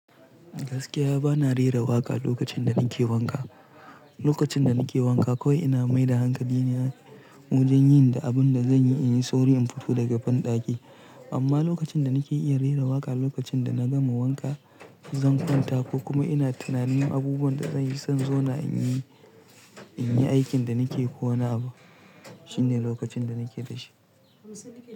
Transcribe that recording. Gaskiya ba na rera waƙa lokacin da nake wanka. Lokacin da nake wanka, ko ina mai da hankali ne wajen yin da abun da zan yi in yi sauri in fito daga banɗaki. Amma lokacin da nake iya rera waƙa, lokacin da na gama wanka, zan kwanta ko kuma ina tunanin abubuwan da zan yi, sai in zauna in yi, in yi aikin da nake ko wani abu. Shine lokacin da nake da shi.